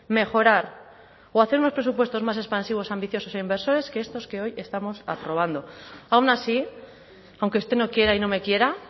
mejorar o hacer unos presupuestos más expansivos ambiciosos e inversores que estos que hoy estamos aprobando aun así aunque usted no quiera y no me quiera